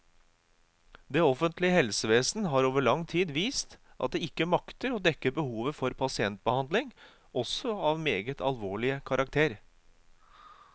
Det offentlige helsevesen har over lang tid vist at det ikke makter å dekke behovet for pasientbehandling, også av meget alvorlig karakter.